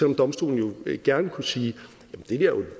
om domstolen jo gerne kunne sige